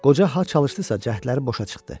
Qoca ha çalışdısa cəhdləri boşa çıxdı.